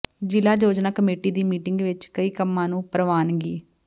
ਜ਼ਿਲ੍ਹਾ ਯੋਜਨਾ ਕਮੇਟੀ ਦੀ ਮੀਟਿੰਗ ਵਿਚ ਕਈ ਕੰਮਾਂ ਨੂੰ ਪ੍ਰਵਾਨਗੀ